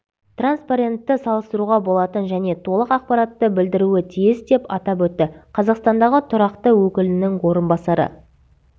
транспорентті салыстыруға болатын және толық ақпаратты білдіруі тиіс деп атап өтті қазақстандағы тұрақты өкілінің орынбасары